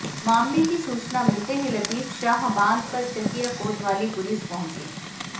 मामले की सूचना मिलते ही लतीफ शाह बांध पर चकिया कोतवाली पुलिस पहुंची